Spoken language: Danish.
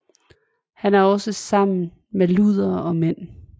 Han er også sammen med luder og mænd